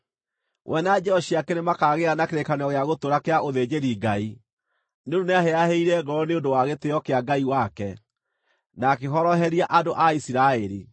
We na njiaro ciake nĩ makagĩa na kĩrĩkanĩro gĩa gũtũũra kĩa ũthĩnjĩri-Ngai, nĩ ũndũ nĩahĩahĩire ngoro nĩ ũndũ wa gĩtĩĩo kĩa Ngai wake, na akĩhoroheria andũ a Isiraeli.”